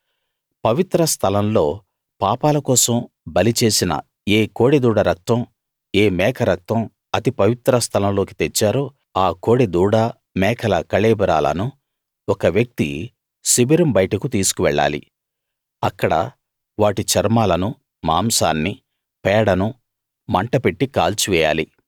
పవిత్ర స్థలం లో పాపాల కోసం బలి చేసిన ఏ కోడె దూడ రక్తం ఏ మేక రక్తం అతి పవిత్ర స్థలం లోకి తెచ్చారో ఆ కోడె దూడ మేకల కళేబరాలను ఒకవ్యక్తి శిబిరం బయటకు తీసుకువెళ్ళాలి అక్కడ వాటి చర్మాలనూ మాంసాన్నీ పేడనూ మంట పెట్టి కాల్చి వేయాలి